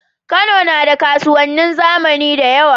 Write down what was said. Kano nada kasuwanin zamani dayawa